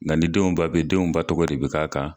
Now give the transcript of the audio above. denw ba tɔgɔ de bɛ k'a kan.